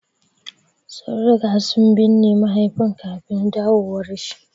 Sun riga sun binne mahaifin kafin dawowar shi.